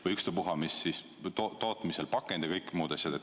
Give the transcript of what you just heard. Või ükspuha, kas tootmisel pakendi või muud asjad.